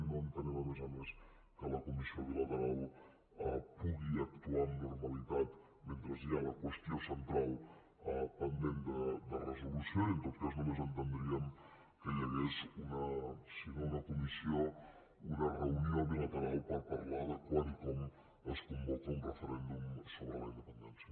no entenem a més a més que la comissió bilateral pugui actuar amb normalitat mentre hi ha la qüestió central pendent de resolució i en tot cas només entendríem que hi hagués si no una comissió una reunió bilateral per parlar de quan i com es convoca un referèndum sobre la independència